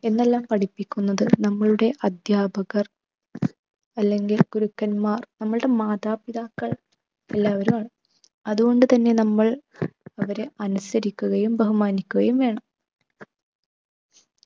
എന്നെല്ലാം പഠിപ്പിക്കുന്നത് നമ്മളുടെ അധ്യാപകർ അല്ലെങ്കിൽ ഗുരുക്കന്മാർ നമ്മളുടെ മാതാപിതാക്കൾ എല്ലാവരുമാണ്. അതുകൊണ്ട് തന്നെ നമ്മൾ അവരെ അനുസരിക്കുകയും ബഹുമാനിക്കുകയും വേണം.